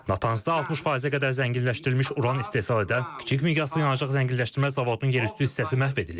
Natanzda 60%-ə qədər zənginləşdirilmiş uran istehsal edən kiçik miqyaslı yanacaq zənginləşdirmə zavodunun yerüstü hissəsi məhv edilib.